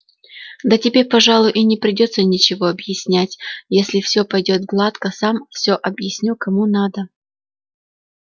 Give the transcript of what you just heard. да тебе пожалуй и не придётся ничего объяснять если все пойдёт гладко сам все объясню кому надо